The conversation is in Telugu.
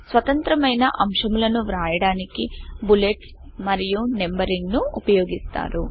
స్వతంత్రమైన అంశములను వ్రాయడానికి బులెట్స్ మరియు నంబరింగ్ ను ఉపయోగిస్తారు